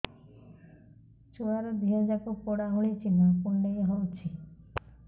ଛୁଆର ଦିହ ଯାକ ପୋଡା ଭଳି ଚି଼ହ୍ନ କୁଣ୍ଡେଇ ହଉଛି